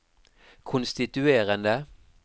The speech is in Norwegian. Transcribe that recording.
konstituerende